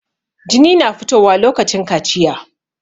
Jini na fito wa lokacin kaciya